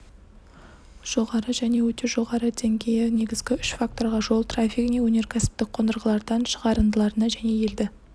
жоғары және өте жоғары деңгейі негізгі үш факторға жол трафигіне өнеркәсіптік қондырғылардан шығарындыларына және елді